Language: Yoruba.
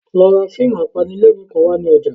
Lọ ra fíìmù apanilẹ́rìn-ín kan wá ní ọjà